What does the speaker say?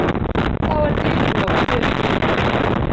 Þá er dyrum lokið upp.